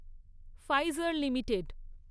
Pfizer limited